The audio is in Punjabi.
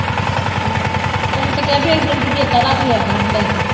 ਤੈਨੂੰ ਤੇ ਕਿਹਾ ਵੀ ਚੇਤਾ ਰੱਖ ਲਿਆ ਕਰ ਲੈ ਕੇ।